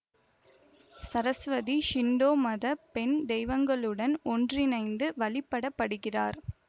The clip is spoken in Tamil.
சரஸ்வதி ஷிண்டோ மத பெண் தெய்வங்களுடன் ஒன்றிணைந்து வழிபடப்படுகிறார்